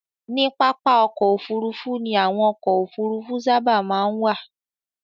Ní pápá-ọkọ̀ òfurufú ni àwọn ọkọ̀ òfurufú sábà máa ń wà